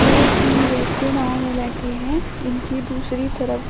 ये तीन व्यक्ति नाव में बैठे हैं इनकी दूसरी तरफ--